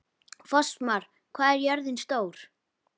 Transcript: Fossmar, hvað er jörðin stór?